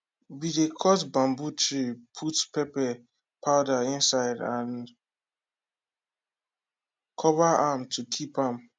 we dey cut bamboo tree put pepper powder inside and cover am to keep am